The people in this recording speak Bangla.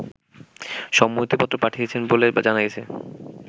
সম্মতিপত্র পাঠিয়েছেন বলে জানা গেছে